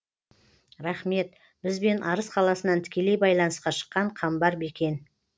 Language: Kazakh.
рахмет бізбен арыс қаласынан тікелей байланысқа шыққан қамбар бекен